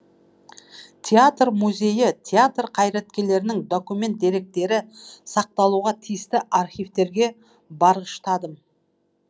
театр музейі театр қайраткерлерінің документ деректері сақталуға тиісті архивтерге барғыштадым